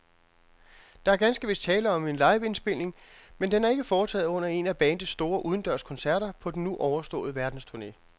Der er ganske vist tale om en liveindspilning, men den er ikke foretaget under en af bandets store udendørskoncerter på den nu overståede verdensturne.